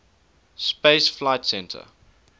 space flight center